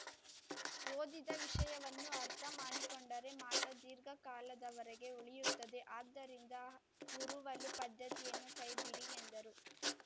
ಓದಿದ ವಿಷಯವನ್ನು ಅರ್ಥಮಾಡಿಕೊಂಡರೆ ಮಾತ್ರ ದೀರ್ಘಕಾಲದವರೆಗೆ ಉಳಿಯುತ್ತದೆ ಆದ್ದರಿಂದ ಹುರುವಲು ಪದ್ದತಿಯನ್ನು ಕೈಬಿಡಿ ಎಂದರು